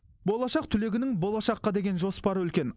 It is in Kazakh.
болашақ түлегінің болашаққа деген жоспары үлкен